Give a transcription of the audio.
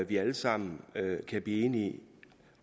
vi alle sammen kan blive enige